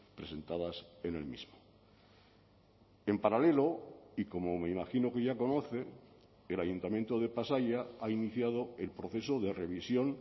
presentadas en el mismo en paralelo y como me imagino que ya conoce el ayuntamiento de pasaia ha iniciado el proceso de revisión